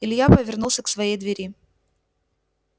илья повернулся к своей двери